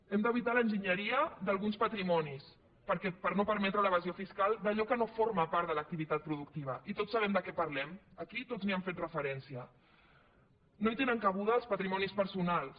hem d’evitar l’enginyeria d’alguns patrimonis perquè per no permetre l’evasió fiscal d’allò que no forma part de l’activitat productiva i tots sabem de què parlem aquí tots hi hem fet referència no hi tenen cabuda els patrimonis personals